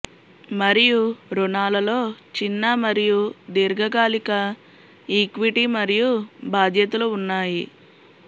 మరియు ఋణాలలో చిన్న మరియు దీర్ఘకాలిక ఈక్విటీ మరియు బాధ్యతలు ఉన్నాయి